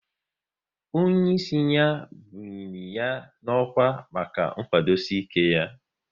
Onye ịsị ya bunyiri ya n'ọkwá maka nkwudosi ike ya